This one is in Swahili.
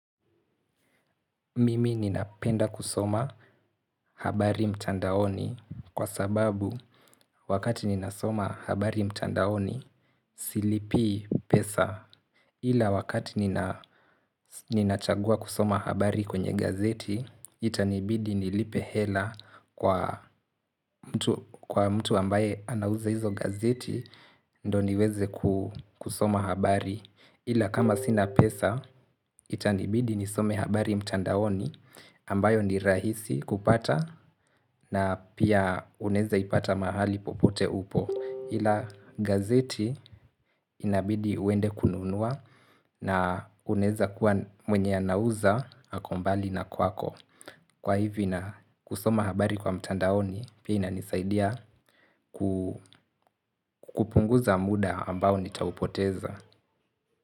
Mimi ninapenda kusoma habari mtandaoni kwa sababu wakati ninasoma habari mtandaoni silipii pesa. Ila wakati ninachagua kusoma habari kwenye gazeti itanibidi nilipe hela kwa mtu ambaye anauza hizo gazeti ndio niweze kusoma habari. Ila kama sina pesa itanibidi nisome habari mtandaoni ambayo ni rahisi kupata na pia unaeza ipata mahali popote upo ila gazeti inabidi uende kununua na unaeza kuwa mwenye anauza ako mbali na kwako kwa hivyo ina kusoma habari kwa mtandaoni pia inanisaidia kupunguza muda ambao nitaupoteza.